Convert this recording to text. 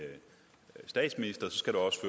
statsminister så skal der også